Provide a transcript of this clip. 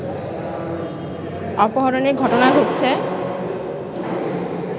অপহরণের ঘটনা ঘটছে